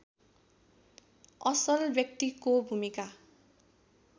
असल व्यक्तिको भूमिका